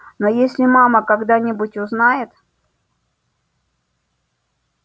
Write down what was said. но если мама когда-нибудь узнает